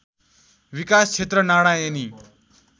विकास क्षेत्र नारायणी